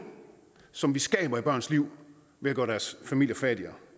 som vi skaber i børns liv ved at gøre deres familier fattigere